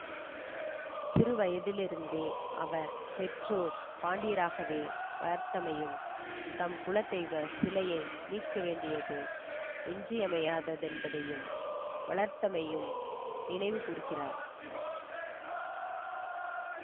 சிறுவயதிலிருந்தே அவர் பெற்றோர் பாண்டியராகவே வளர்த்தமையும் தம் குலதெய்வ சிலையை மீட்க வேண்டியது இன்றியமையாததென்பதையும் வளர்த்தமையையும் நினைவுகூர்கிறார்